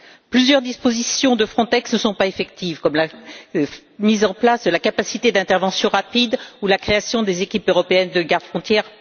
Plusieurs dispositions de Frontex ne sont pas effectives, comme la mise en place de la capacité d'intervention rapide ou la création des équipes européennes de gardes frontières.